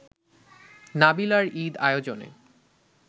নাবিলার ঈদ আয়োজনে